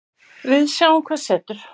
Við sjáum hvað setur